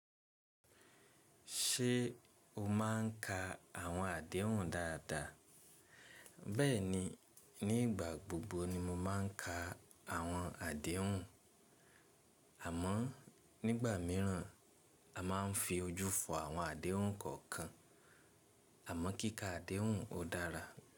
Ṣé o máa ń ka àwọn àdéhùn dáadáa? Bẹ́ẹ̀ni, nígbà gbogbo ni mo máa ń ka àwọn àdéhùn, àmọ́ nígbà míràn a máa ń fi ojú fọ àwọn àdéhùn kọ̀ọ̀kan. Àmọ́ kíkà àdéhùn ó dára.